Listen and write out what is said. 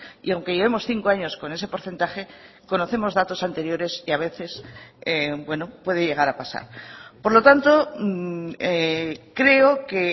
y aunque llevemos cinco años con ese porcentaje conocemos datos anteriores y a veces bueno puede llegar a pasar por lo tanto creo que